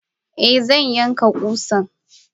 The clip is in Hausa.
Eh zan yanka kusan.